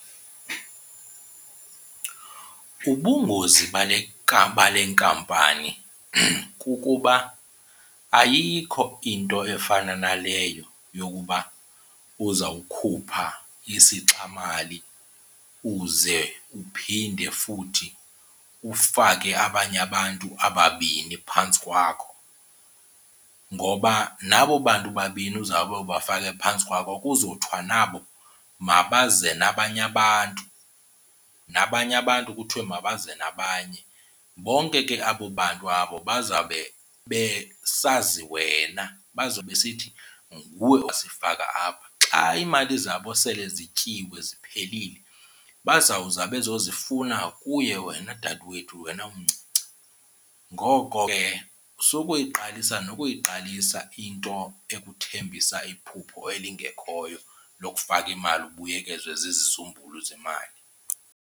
Ubungozi bale nkampani kukuba ayikho into efana naleyo yokuba uzawukhupha isixamali uze uphinde futhi ufake abanye abantu ababini phantsi kwakho. Ngoba nabo bantu babini uzawube ubafake phantsi kwakho kuzothwa nabo mabaze nabanye abantu, nabanye abantu kuthiwe mabaze nabanye. Bonke ke abo bantu abo bazawube besazi wena bazawube besithi nguwe owasifaka apha. Xa iimali zabo sele zityiwe ziphelile bazawuza bezozifuna kuye wena dadwethu, wena umncinci. Ngoko ke sukuyiqalisa nokuyiqalisa into ekuthembisa iphupho elingekhoyo lokufaka imali ubuyekezwe zizizumbulu zemali.